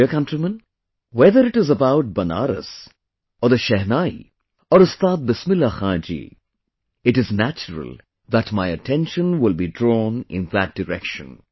My dear countrymen, whether it is about Banaras or the Shehnai or Ustad Bismillah Khan ji, it is natural that my attention will be drawn in that direction